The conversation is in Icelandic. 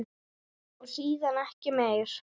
Og síðan ekki meir?